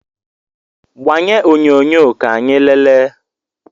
Gbanye onyonyo ka anyị leele!